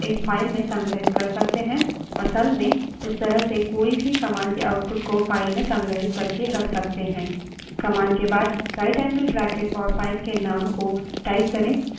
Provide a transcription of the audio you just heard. इन सभी जानकारी को screen पर प्रदर्शित करने के बजाय हम एक file में संग्रहित कर सकते हैं असल में इस तरह से कोई भी command के output को file में संग्रहित करके रख सकते हैं